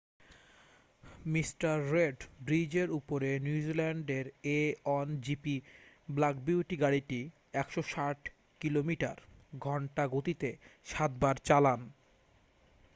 Mr red ব্রিজের উপরে নিউজিল্যান্ডের a1gp ব্ল্যাক বিউটি গাড়িটি 160 কিলোমিটার / ঘন্টা গতিতে সাতবার চালান